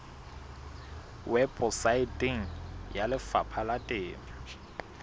weposaeteng ya lefapha la temo